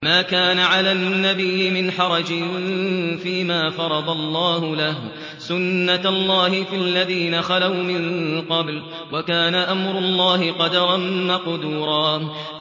مَّا كَانَ عَلَى النَّبِيِّ مِنْ حَرَجٍ فِيمَا فَرَضَ اللَّهُ لَهُ ۖ سُنَّةَ اللَّهِ فِي الَّذِينَ خَلَوْا مِن قَبْلُ ۚ وَكَانَ أَمْرُ اللَّهِ قَدَرًا مَّقْدُورًا